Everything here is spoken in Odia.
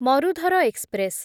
ମରୁଧର ଏକ୍ସପ୍ରେସ୍